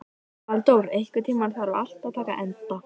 Valdór, einhvern tímann þarf allt að taka enda.